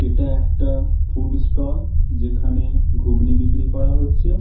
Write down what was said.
এটা একটা food stall যেখানে ঘুগনি বিক্রি করা হচ্ছে--